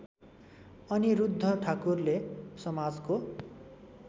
अनिरुद्ध ठाकुरले समाजको